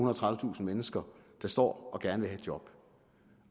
og tredivetusind mennesker der står og gerne et job